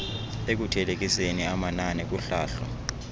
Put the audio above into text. ekuthelekiseni amanani kuhlahlo